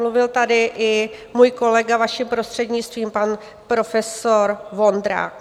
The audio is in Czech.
Mluvil tady i můj kolega, vaším prostřednictvím, pan profesor Vondrák.